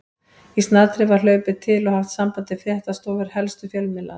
Í snatri var hlaupið til og haft samband við fréttastofur helstu fjölmiðlanna.